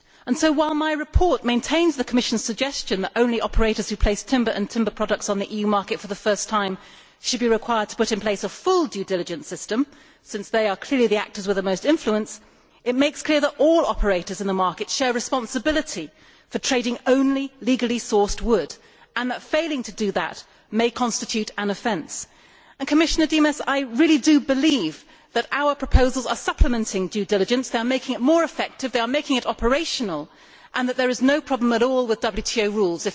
So, while my report maintains the Commission's suggestion that only operators who place timber and timber products on the EU market for the first time should be required to put in place a full due diligence system since they are clearly the actors with the most influence it makes clear that all operators in the market share responsibility for trading only legally sourced wood and that failing to do that may constitute an offence. I should like to say to Commissioner Dimas that I really do believe that our proposals are supplementing due diligence they are making it more effective, they are making it operational and there is no problem at all with WTO rules.